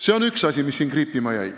See on üks asi, mis mul siin kriipima jäi.